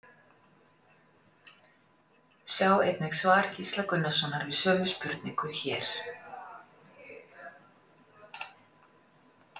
Sjá einnig svar Gísla Gunnarssonar við sömu spurningu, hér.